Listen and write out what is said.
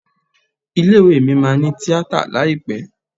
Ilé ìwé mi máa ní Tíátà láìpẹ́.